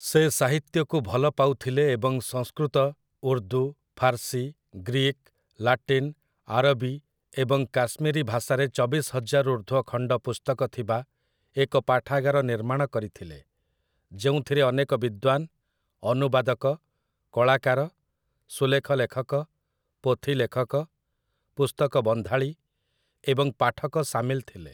ସେ ସାହିତ୍ୟକୁ ଭଲ ପାଉଥିଲେ ଏବଂ Sanskrit, Urdu, Farsi, Greek, Latin, ଆରବୀ ଏବଂ କାଶ୍ମୀରୀ ଭାଷାରେ ଚବିଶ ହଜାରରୁ ଉର୍ଦ୍ଧ୍ୱ ଖଣ୍ଡ ପୁସ୍ତକ ଥିବା ଏକ ପାଠାଗାର ନିର୍ମାଣ କରିଥିଲେ, ଯେଉଁଥିରେ ଅନେକ ବିଦ୍ୱାନ୍, ଅନୁବାଦକ, କଳାକାର, ସୁଲେଖ ଲେଖକ, ପୋଥିଲେଖକ, ପୁସ୍ତକ ବନ୍ଧାଳୀ ଏବଂ ପାଠକ ସାମିଲ ଥିଲେ ।